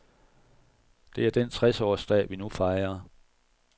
Det er den tres-årsdag vi nu fejrer.